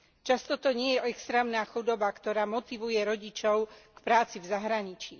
Často to nie je extrémna chudoba, ktorá motivuje rodičov k práci v zahraničí.